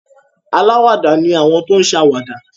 Alàwàdá ni àwọn tí o n ṣe àwàdà